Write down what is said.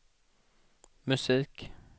musik